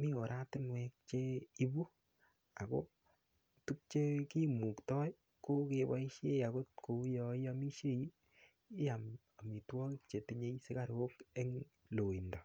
mi oratinwek cheibu ako tukchekimuktoi ko keboishe akot ko uu yo iomishei iyam omitwokik chetinyei sikarok eng' loindo